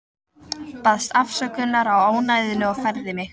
Baðst afsökunar á ónæðinu og færði mig.